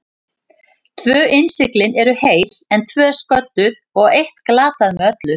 Tvö innsiglin eru heil, en tvö sködduð og eitt glatað með öllu.